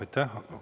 Aitäh!